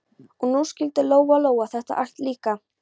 Og nú skildi Lóa-Lóa þetta allt líka.